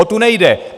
O tu nejde!